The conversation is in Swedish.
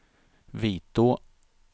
Vitå